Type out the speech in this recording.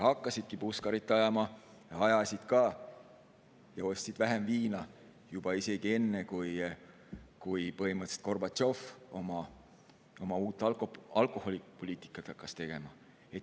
Hakkasidki puskarit ajama, ja ajasid ka, ja ostsid vähem viina juba isegi enne, kui põhimõtteliselt Gorbatšov oma uut alkoholipoliitikat hakkas tegema.